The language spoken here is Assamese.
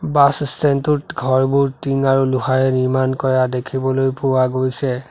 বাছ ষ্টেণ্ড টোত ঘৰবোৰ টিং আৰু লোহাৰে নিৰ্মাণ কৰা দেখিবলৈ পোৱা গৈছে।